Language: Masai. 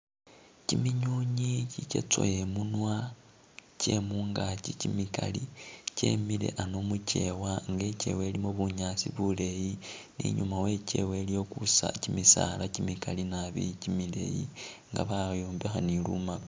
Kiminyunyi kikyatsowe e'munwa kyemungaki kimikali kyemile ano mukewa nga ikewa elimo bunyaasi buleyi ni i'nyuma we'kewa iliyo kusa kimisaala kimikaali naabi kimileyi nga bayombekha ni lumako